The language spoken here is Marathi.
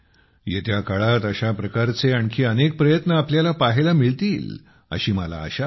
येत्या काळात अशा प्रकारचे आणखी अनेक प्रयत्न आपल्याला पाहायला मिळतील अशी मला आशा आहे